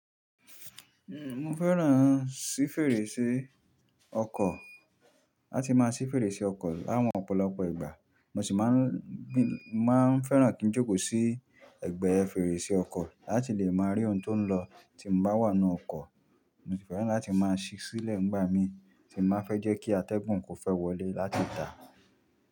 Ń, mo fẹ́ràn sí fèrèsé ọkọ̀, láti máa sí fèrèsé ọkọ̀ láwọn ọ̀pọ̀lọpọ̀ ìgbà, mo sì máa ń, mo máa ń fẹ́ràn kí n jókòó sí ẹ̀gbẹ́ fèrèsé ọkọ̀ láti lè máa rí ohun tó ń lọ tí mo bá wà nú ọkọ̀. Mo sì fẹ́ràn láti máa ṣí sílẹ̀ nígbà mí tí mo fẹ́ jẹ́ kí atẹ́gùn kó fẹ́ wọlé láti tà.